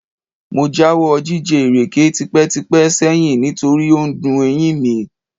Mo jáwọ́ jíjẹ ìrèké tipẹ́tipẹ́ sẹ́yìn nítorí ó dun eyín mi